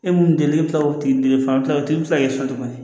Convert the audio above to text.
E mun delila k'i kila o tigi fana bɛ kila o tigi bɛ se k'i so tuguni